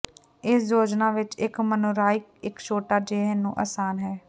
ਇਸ ਯੋਜਨਾ ਵਿੱਚ ਇੱਕ ਮੋਨਾਰਕ ਇੱਕ ਛੋਟਾ ਜਿਹਾ ਨੂੰ ਆਸਾਨ ਹੈ